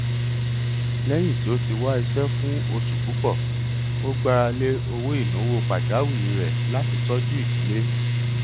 lẹyìn tí ó ti wá iṣẹ fún oṣù púpọ ó gbára lé owó ìnáwó pàjáwìrì rẹ láti tọjú ìdílé